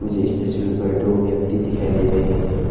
इस तस्वीर पर दो व्यक्ति दिखाई दे रहे हैं।